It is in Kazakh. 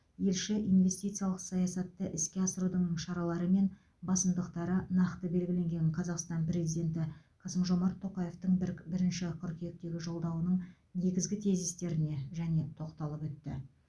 елші инвестициялық саясатты іске асырудың шаралары мен басымдықтары нақты белгіленген қазақстан президенті қасым жомарт тоқаевтың бірк бірінші қыркүйектегі жолдауының негізгі тезистеріне және тоқталып өтті